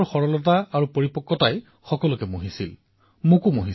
২৩ বছৰীয়া ডেনিল মেডভেডেভৰ সৰলতা আৰু পৰিপক্কতাই সকলোকে প্ৰভাৱিত কৰিবলৈ সমৰ্থ হৈছিল